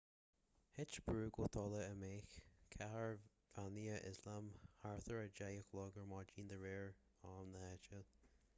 thit brú go talamh i meice cathair bheannaithe ioslam thart ar 10 a chlog ar maidin de réir am na háite